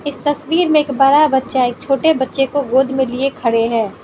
इस तस्वीर में एक बड़ा बच्चा एक छोटे बच्चों को गोद में लिए खड़े हैं।